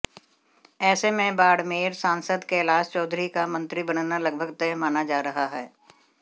ऐसे में बाड़मेर सांसद कैलाश चौधरी का मंत्री बनना लगभग तय माना जा रहा है